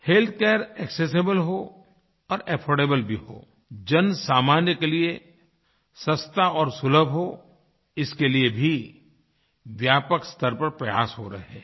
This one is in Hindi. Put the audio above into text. हेल्थ केयर एक्सेसिबल हो और अफोर्डेबल भी हो जन सामान्य के लिए सस्ता और सुलभ हो इसके लिए भी व्यापक स्तर पर प्रयास हो रहे हैं